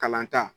Kalan ta